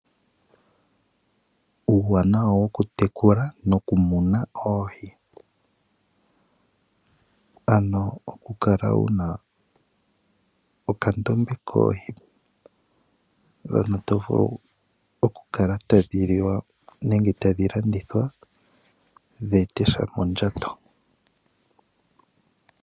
Uuwanawa woku tekula noku muna oohi, ano oku kala wuna okandombe koohi dhoka tadhi vulu oku kala tadhi liwa nenge tadhi landithwa dhi ete sha mondjato.